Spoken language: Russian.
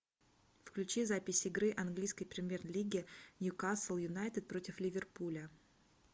включи запись игры английской премьер лиги ньюкасл юнайтед против ливерпуля